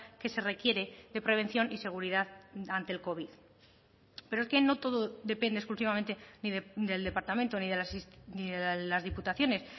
que se requiere de prevención y seguridad ante el covid pero es que no todo depende exclusivamente del departamento ni de las diputaciones